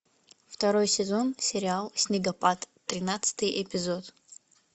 второй сезон сериал снегопад тринадцатый эпизод